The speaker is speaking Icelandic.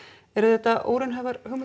eru þetta óraunhæfar hugmyndir